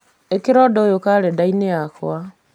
ĩkĩra ũndũ ũyũ karenda-inĩ yakwa